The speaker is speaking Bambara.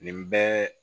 Nin bɛɛ